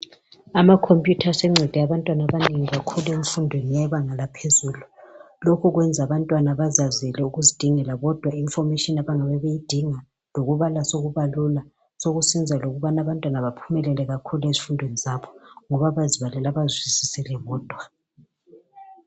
Ama computer sencede abantwana abanengi kakhulu emfundweni yebanga laphezulu Lokhu kwenza abantwana bazazele ukuzidingela kodwa I information abangabe beyidinga lokubana sokubalula Sokusenza lokubana abantwana baphumelele kakhulu ezifundweni zabo ngoba bazibalele bazizwisele bodwa